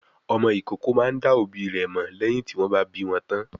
Ọmọ ìkókó máa ń dá òbí rẹ̀ mọ̀ lẹ́yìn tí wọ́n bá bí wọn tán.